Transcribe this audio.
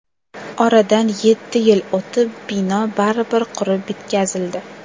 Oradan yetti yil o‘tib, bino baribir qurib bitkazildi.